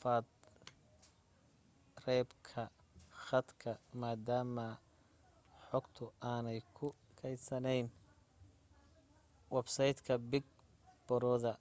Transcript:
faafreebka khadka maadaama xogtu aanay ku kaydsanayn websaytka big brother